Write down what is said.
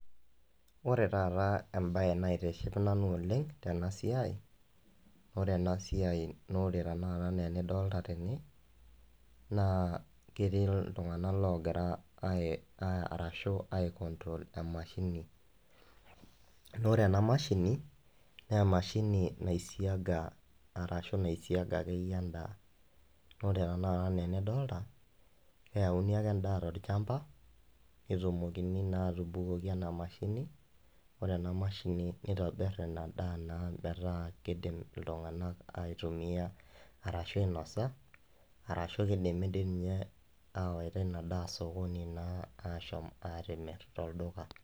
Ore taata ebae naitiship nanu oleng tenasiai, ore enasiai nore tanakata enaa enidolta tene, naa ketii iltung'anak logira arashu ai control emashini. Nore ena mashini, nemashini naisiaga arashu naisiaga akeyie endaa. Ore tanakata enaa enidolta, keyauni ake endaa tolchamba, netumokini naa atubukoki enamashini, ore enamashini nitobir ina daa naa metaa kidim iltung'anak aitumia arashu ainosa, arashu idimi dinye awaita inadaa sokoni naa ashomo atimirr tolduka.